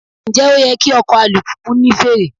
Ǹjẹ́ ó yẹ kí ọkọ̀ alùpùpù ní fèrè?